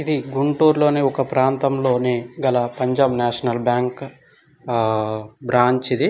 ఇది గుంటూరు లోని ఒక ప్రాంతం లోని గల పంజాబ్ నేషనల్ బ్యాంక్ ఆ బ్రాంచ్ ఇది.